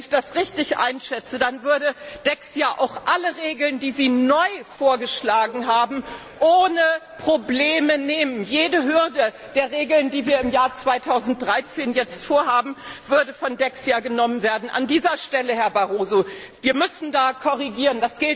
Wenn ich das richtig einschätze, würde Dexia auch alle Regeln, die Sie neu vorgeschlagen haben, ohne Probleme einhalten. Jede Hürde aufgrund der Regeln, die wir für das Jahr 2013 jetzt vorhaben, würde von Dexia genommen werden. An dieser Stelle, Herr Barroso, müssen wir korrigieren.